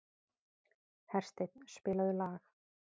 Hersteinn, spilaðu lag.